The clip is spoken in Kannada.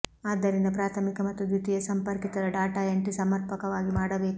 ಆದ್ದರಿಂದ ಪ್ರಾಥಮಿಕ ಮತ್ತು ದ್ವಿತೀಯ ಸಂಪರ್ಕಿತರ ಡಾಟಾ ಎಂಟ್ರಿ ಸಮರ್ಪಕವಾಗಿ ಮಾಡಬೇಕು